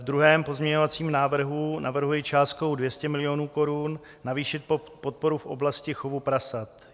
V druhém pozměňovacím návrhu navrhuji částkou 200 milionů korun navýšit podporu v oblasti chovu prasat.